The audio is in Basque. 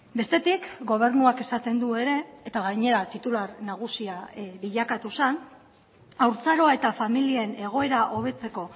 bestetik gobernuak esaten du ere eta gainera titular nagusia bilakatu zen haurtzaroa eta familien egoera hobetzeko